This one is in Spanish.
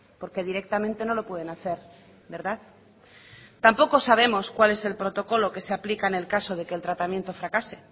porque directamente no lo pueden hacer verdad tampoco sabemos cuál es el protocolo que se aplica en el caso de que el tratamiento fracase